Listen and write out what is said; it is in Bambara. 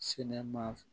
Sɛnɛ maa